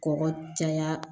Kɔkɔ caya